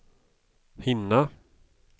hinna